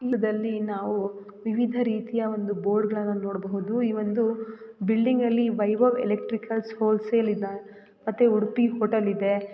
ಇದರಲ್ಲಿ ನಾವು ವಿವಿಧ ರೀತಿಯ ಒಂದು ಬೋರ್ಡ್ ಗಳನ್ನು ನೋಡಬಹುದು ಈ ಒಂದು ಬಿಲ್ಡಿಂಗ್ ನಲ್ಲಿ ವೈಭವ್ ಎಲೆಕ್ಟ್ರಿಕಲ್ ಹೋಲ್ಸೇಲ್ ಇವೆ ಮತ್ತೆ ಉಡುಪಿ ಹೋಟೆಲ್ ಇದೆ.